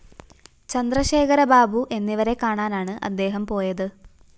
ചന്ദ്രശേഖരബാബു എന്നിവരെ കാണാനാണ്‌ അദ്ദേഹം പോയത്‌